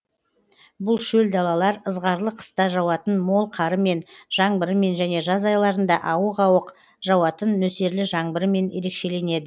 бұл шөл далалар ызғарлы қыста жауатын мол қарымен жаңбырымен және жаз айларында ауық ауық жауатын нөсерлі жаңбырымен ерекшеленеді